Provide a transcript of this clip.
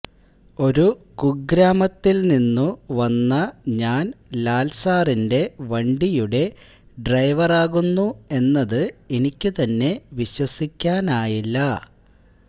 ഒരു കുഗ്രാമത്തിൽനിന്നു വന്ന ഞാൻ ലാൽ സാറിന്റെ വണ്ടിയുടെ ഡ്രൈവറാകുന്നു എന്നതു എനിക്കുതന്നെ വിശ്വസിക്കാനായില്ല